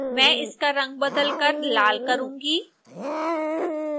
मैं इसका रंग बदलकर लाल करूँगी